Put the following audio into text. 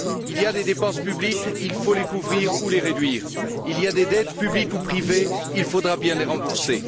Il y a des dépenses publiques, il faut les couvrir ou les réduire. Il y a des dettes publiques ou privées, il faudra bien les rembourser.